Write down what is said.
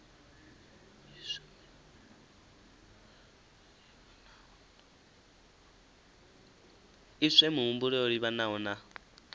iswe mihumbulo yo livhanaho na